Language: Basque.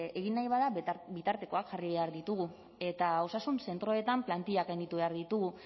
egin nahi bada bitartekoak jarri behar ditugu eta osasun zentroetan plantillak handitu behar ditugu